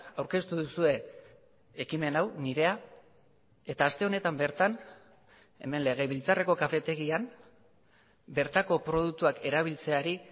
aurkeztu duzue ekimen hau nirea eta aste honetan bertan hemen legebiltzarreko kafetegian bertako produktuak erabiltzeari